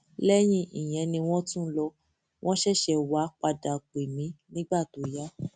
lẹyìn ìyẹn ni wọn tún lọ wọn ṣẹṣẹ wáá padà wàá pè mí nígbà tó yá